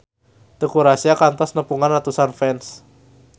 Teuku Rassya kantos nepungan ratusan fans